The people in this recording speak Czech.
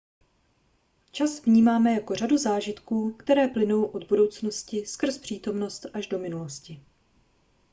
čas vnímáme jako řadu zážitků které plynou od budoucnosti skrz přítomnost až do minulosti